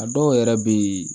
A dɔw yɛrɛ bɛ ye